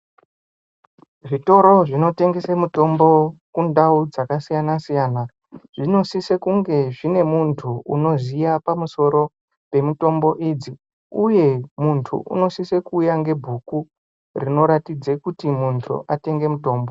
Zvitoro zvinotengese mitombo kundau dzakasiyana siyana zvinosise kunge zvine muntu unoziya pamusoro pemutombo idzi uye muntu unosisa kuuya ngebhuku rinoratidze kuti muntu atenge mutombo.